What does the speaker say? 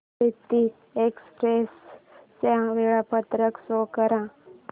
Avantika express चे वेळापत्रक show कर